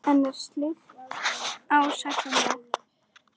En er slíkt ásættanlegt?